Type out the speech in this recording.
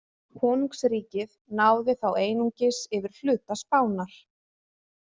Konungsríkið náði þá einungis yfir hluta Spánar.